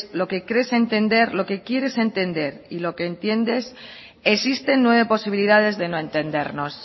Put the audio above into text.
lo que crees entender lo que quieres entender y lo que entiendes existen nueve posibilidades de no entendernos